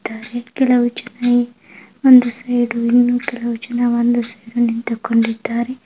ಕೆಲವು ಜನರು ಅಲ್ಲಲ್ಲಿ ಒಂಡಷ್ಟು ಜನ ನಿಂತುಕೊಂಡಿದ್ದಾರೆ .